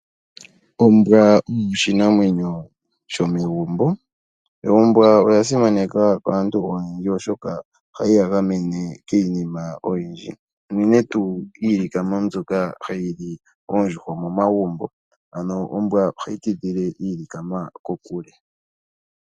Ombwa oyo oshinamwenyo shomegumbo. Ombwa oya simanekwa kaantu oyendji, oshoka oyili hayi ya gamene kiinima oyindji uunene tuu kiilikama mbyoka hayi li Oondjuhwa momagumbo, ano ombwa ohayi tidhile iilikama kokule.